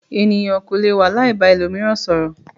Ènìyàn kò lè wà láì ba ẹlòmíràn sọ̀rọ̀.